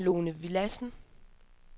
Lone Villadsen